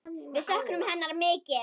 Við söknum hennar mikið.